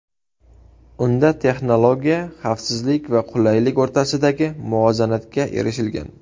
Unda texnologiya, xavfsizlik va qulaylik o‘rtasidagi muvozanatga erishilgan.